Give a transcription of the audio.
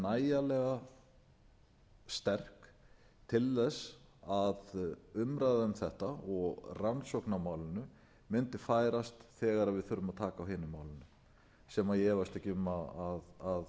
öll sömul væru nægjanlega sterk til þess að umræða um þetta og rannsókn á málinu mundi færast þegar við þurfum að taka á hinu málinu sem ég efast ekki